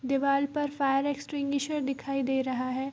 दीवाल पर fire extinguisher दिखाई दे रहा है।